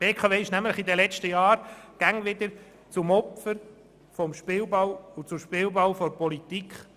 Die BKW wurde in den letzten Jahren immer wieder zum Opfer und zum Spielball der Politik.